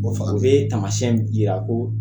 Bon fa bɛ tamayɛn jira ko